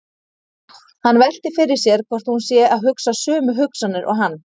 Hann veltir fyrir sér hvort hún sé að hugsa sömu hugsanir og hann.